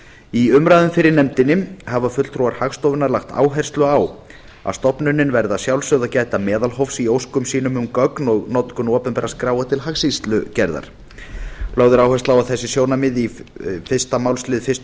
í umræðum fyrir nefndinni hafa fulltrúar hagstofunnar lagt áherslu á að stofnunin verði að sjálfsögðu að gæta meðalhófs í óskum sínum um gögn og notkun opinberra skráa til hagskýrslugerðar lögð er áhersla á þessi sjónarmið í fyrsta málsl fyrstu